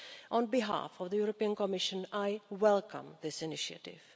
On behalf of the European Commission, I welcome this initiative.